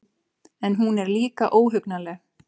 En hún er líka óhugnanleg.